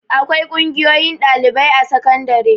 Akwai ƙungiyoyin ɗalibai a sakandare.